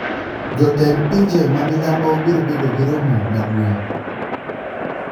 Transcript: Jotend pinje ma milambo biro bedo gi romo maduong`